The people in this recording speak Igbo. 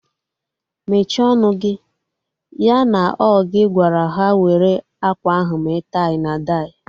Mechie ọnụ gị! Ya na ọ gị gwara ha were akwa ahụ mee tai na dai